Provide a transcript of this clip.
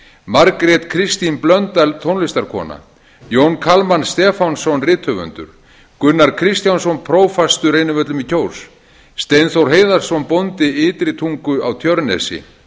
margrét kristín blöndal tónlistarkona jón kalman stefánsson rithöfundur gunnar kristjánsson prófastur reynivöllum í kjós steinþór heiðarsson bóndi ytri tungu á tjörnesi